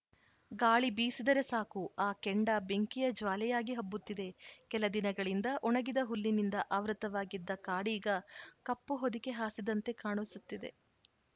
ಗಾಳಿ ಬೀಸಿದರೆ ಸಾಕು ಆ ಕೆಂಡ ಬೆಂಕಿಯ ಜ್ವಾಲೆಯಾಗಿ ಹಬ್ಬುತ್ತಿದೆ ಕೆಲದಿನಗಳಿಂದ ಒಣಗಿದ ಹುಲ್ಲಿನಿಂದ ಆವೃತವಾಗಿದ್ದ ಕಾಡೀಗ ಕಪ್ಪು ಹೊದಿಕೆ ಹಾಸಿದಂತೆ ಕಾಣಿಸುತ್ತಿದೆ